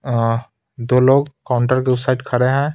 अअह दो लोग काउंटर के उस साइड खड़े हैं.